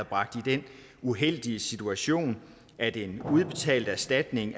bragt i den uheldige situation at en udbetalt erstatning